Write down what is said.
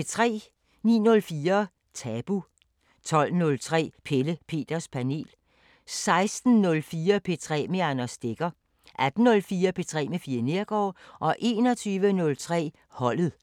09:04: Tabu 12:03: Pelle Peters Panel 16:04: P3 med Anders Stegger 18:04: P3 med Fie Neergaard 21:03: Holdet